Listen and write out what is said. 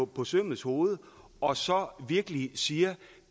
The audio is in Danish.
på sømmets hoved og så virkelig siger